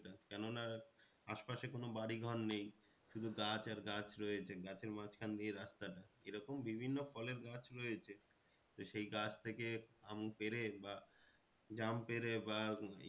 কেন না আশপাশে কোনো বাড়ি ঘর নেই শুধু গাছ আর গাছ রয়েছে গাছের মাঝখান দিয়ে রাস্তাটা এরকম বিভিন্ন ফলের গাছ রয়েছে তো সেই গাছ থেকে আম পেরে বা জাম পেরে বা